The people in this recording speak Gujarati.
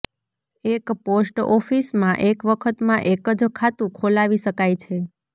એક પોસ્ટ ઓફીસમાં એક વખતમાં એક જ ખાતું ખોલાવી શકાય છે